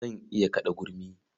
Zan iya kaɗa gurmi.